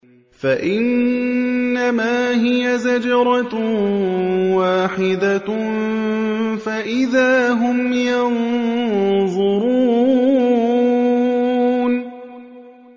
فَإِنَّمَا هِيَ زَجْرَةٌ وَاحِدَةٌ فَإِذَا هُمْ يَنظُرُونَ